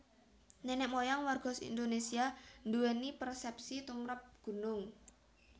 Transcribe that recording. Nenek moyang warga Indonésia nduwèni persépsi tumprap gunung